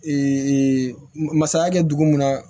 masaya kɛ dugu mun na